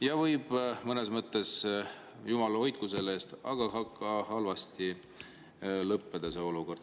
See võib – jumal hoidku selle eest – ka halvasti lõppeda.